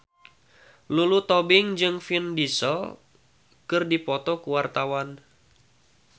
Lulu Tobing jeung Vin Diesel keur dipoto ku wartawan